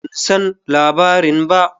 Ban san labarin ba.